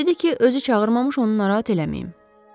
Dedi ki, özü çağırmamış onu narahat eləməyin.